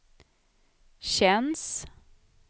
känns